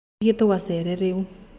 Tũthiĩ tũgacere rĩu